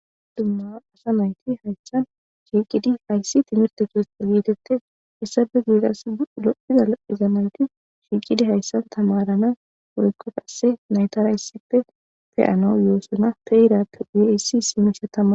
Dumma asa naythi hayssan shiiqidi hayssi thimirththe keeththa geetheththes; essape guyen qassi lo7iza lo7iza naythi shiiqidi hayssan thamarana woykko qassi naythara issippe pe7anawu yoosona; pe7iraappe guye issi simishe thama.